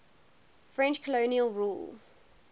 french colonial rule